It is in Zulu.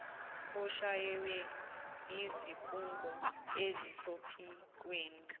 oshaywe yizikhungo ezisophikweni